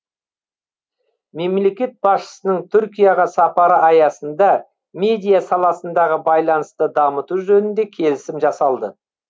мемлекет басшысының түркияға сапары аясында медиа саласындағы байланысты дамыту жөнінде келісім жасалды